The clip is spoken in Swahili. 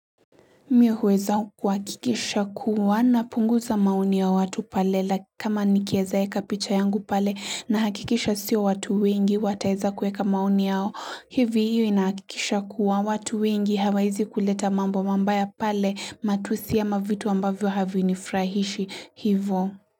Mimi huweza kuhakikisha kuwa napunguza maoni ya watu pale like kama nikiweza weka picha yangu pale nahakikisha sio watu wengi wataweza kuweka maoni yao. Hivi hiyo inakikisha kuwa watu wengi hawawezi kuleta mambo mabaya pale matusi ama vitu ambavyo havinifrahishi, hivyo.